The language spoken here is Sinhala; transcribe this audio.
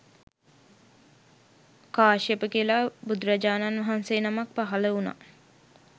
කාශ්‍යප කියලා බුදුරජාණන් වහන්සේ නමක් පහළ වුණා